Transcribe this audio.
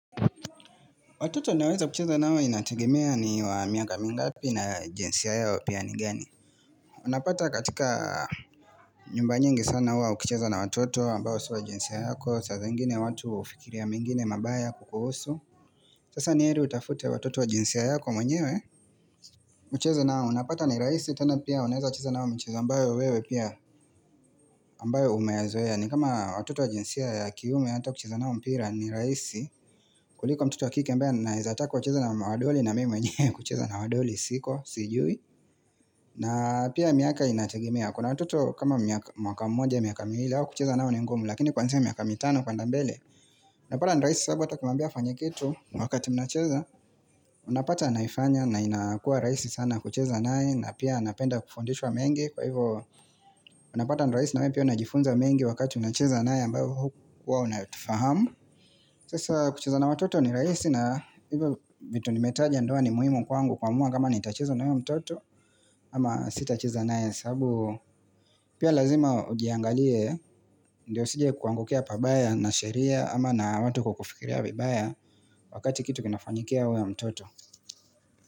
Watoto naweza kucheza nao inategemea ni wa miaka mingapi na jinsia yao pia ni gani. Unapata katika nyumba nyingi sana huwa ukichiza na watoto ambao si wa jinsia yako. Saa zingine watu hufikiria mengine mabaya kukuhusu. Sasa ni heri utafute watoto wa jinsia yako mwenyewe. Kucheza nao unapata ni rahisi tena pia unaweza kucheza nao mchezo ambayo wewe pia ambayo umeyazoea. Ni kama watoto wa jinsia ya kiume hata kucheza nao mpira ni rahisi. Kuliko mtoto wa kike ambaye ninawezataka wacheze na madoli na mimi mwenye kucheza na wadoli siko, sijui na pia miaka inategemea Kuna watoto kama mwaka mmoja, miaka miwili mwile hawa kucheza nao ni ngumu Lakini kuanzia mwaka mitano kwenda mbele Napata ni rahisi sababu hata ukimaambia afanye kitu wakati mnacheza Unapata naifanya na inakuwa rahisi sana kucheza nae na pia anapenda kufundishwa mengi Kwa hivo unapata ni rahisi nawe pia unajifunza mengi wakati unacheza naye ambayo haukuwa unatufahamu Sasa kucheza na watoto ni rahisi na hivyo vitu nimetaja ndoa ni muhimu kwangu kuamua kama nitachezo na huyo mtoto ama sitachiza nae sabu pia lazima ujiangalie ndio usije kuangukia pabaya na sheria ama na watu kukufikiria vibaya wakati kitu kinafanyikia huyu mtoto.